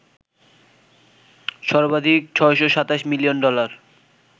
সর্বাধিক ৬২৭ million dollar